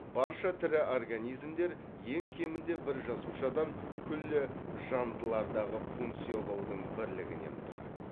барша тірі организмдер ең кемінде бір жасушадан күллі жандылардағы функциялаудың бірлігінен тұрады